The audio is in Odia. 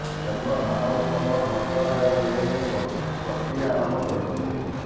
କେନ୍ଦ୍ର ମାନବ ସମ୍ବଳ ମନ୍ତ୍ରଣାଳୟ ଏନେଇ ପ୍ରକ୍ରିୟା ଆରମ୍ଭ କରିଛି